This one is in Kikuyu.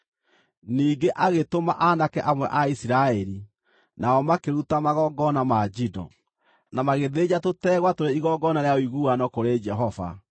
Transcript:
Ningĩ agĩtũma aanake amwe a Isiraeli, nao makĩruta magongona ma njino, na magĩthĩnja tũtegwa tũrĩ igongona rĩa ũiguano kũrĩ Jehova.